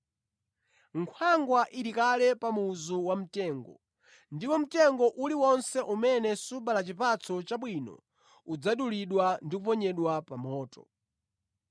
Nkhwangwa ili kale pa muzu wamitengo, ndipo mtengo uliwonse umene subala chipatso chabwino udzadulidwa ndi kuponyedwa pa moto.”